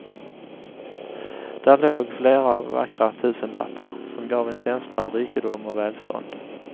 Där låg flera vackra tusenlappar som gav en känsla av rikedom och välstånd.